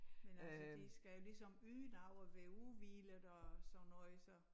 Men altså de skal ligesom yde noget og være udhvilede og sådan noget så